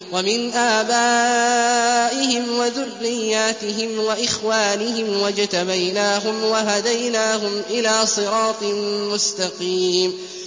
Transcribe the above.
وَمِنْ آبَائِهِمْ وَذُرِّيَّاتِهِمْ وَإِخْوَانِهِمْ ۖ وَاجْتَبَيْنَاهُمْ وَهَدَيْنَاهُمْ إِلَىٰ صِرَاطٍ مُّسْتَقِيمٍ